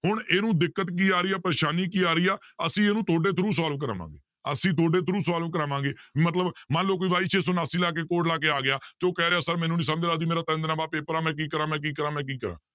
ਹੁਣ ਇਹਨੂੰ ਦਿੱਕਤ ਕੀ ਆ ਰਹੀ ਹੈ ਪਰੇਸਾਨੀ ਕੀ ਆ ਰਹੀ ਆ ਅਸੀਂ ਇਹਨੂੰ ਤੁਹਾਡੇ through solve ਕਰਾਵਾਂਗੇ ਅਸੀਂ ਤਹਾਡੇ through solve ਕਰਾਵਾਂਗੇ ਮਤਲਬ ਮੰਨ ਲਓ ਕੋਈ y ਛੇ ਸੌ ਉਣਾਸੀ ਲਾ ਕੇ code ਲਾ ਕੇ ਆ ਗਿਆ ਤੇ ਉਹ ਕਹਿ ਰਿਹਾ sir ਮੈਨੂੰ ਨੀ ਸਮਝ ਲੱਗਦੀ, ਮੇਰਾ ਤਿੰਨ ਦਿਨਾਂ ਬਾਅਦ ਪੇਪਰ ਆ ਮੈਂ ਕੀ ਕਰਾਂ, ਮੈਂ ਕੀ ਕਰਾਂ, ਮੈਂ ਕੀ ਕਰਾਂ